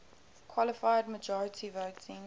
qualified majority voting